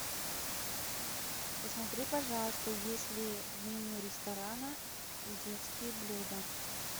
посмотри пожалуйста есть ли в меню ресторана детские блюда